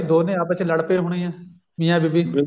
ਦੋਨੇ ਆਪਸ ਚ ਲੜ ਪਏ ਹੋਣੇ ਐ ਮੀਆਂ ਬੀਬੀ